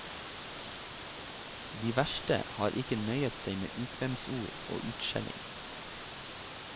De verste har ikke nøyet seg med ukvemsord og utskjelling.